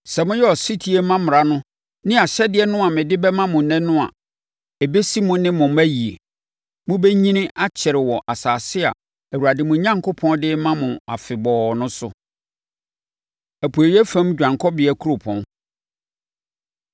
Sɛ moyɛ ɔsetie ma mmara no ne ahyɛdeɛ no a mede bɛma mo ɛnnɛ no a, ɛbɛsi mo ne mo mma yie. Mobɛnyini akyɛre wɔ asase a Awurade mo Onyankopɔn de rema mo afebɔɔ no so. Apueeɛ Fam Dwanekɔbea Nkuropɔn